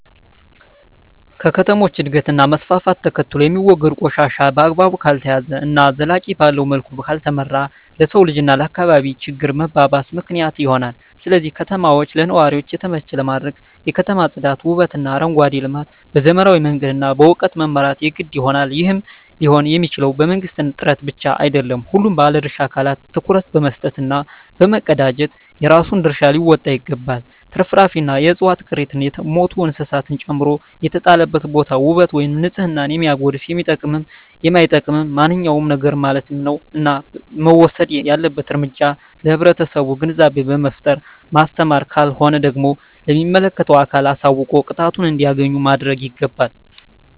ከከተሞች እድገት እና መስፍፍት ተከትሎየሚወገዱ ቆሻሻ በአግባቡ ካልተያዘ እና ዘላቂነት ባለዉ መልኩ ካልተመራ ለሰዉ ልጅ እና ለአካባቢ ችግር መባባስ ምክንያት ይሆናል ስለዚህ ከተማችን ለነዋሪዎች የተመቸ ለማድረግ የከተማ ፅዳት ዉበትእና አረንጓዴ ልማት በዘመናዊ መንገድ እና በእዉቀት መምራት የግድ ይሆናል ይህም ሊሆንየሚችለዉ በመንግስት ጥረት ብቻ አይደለም ሁሉም ባለድርሻ አካላት ትኩረት በመስጠት እና በመቀናጀት የራሱን ድርሻ ሊወጣ ይገባል ትርፍራፊንእና የዕፅዋት ቅሪትን የሞቱ እንስሳትን ጨምሮ የተጣለበትን ቦታ ዉበት ወይም ንፅህናን የሚያጎድፍ የሚጠቅምም የማይጠቅምም ማንኛዉም ነገርማለት ነዉ እና መወሰድ ያለበት እርምጃ ለህብረተሰቡ ግንዛቤ በመፍጠር ማስተማር ካልሆነ ደግሞ ለሚመለከተዉ አካል አሳዉቆ ቅጣቱን እንዲያገኝ ማድረግይገባል